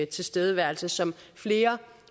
tilstedeværelse som flere